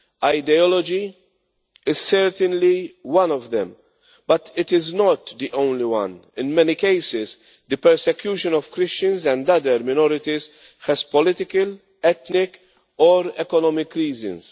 Ideology is certainly one of them, but it is not the only one. In many cases, the persecution of Christians and other minorities has political, ethnic or economic reasons.